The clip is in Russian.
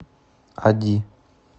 ади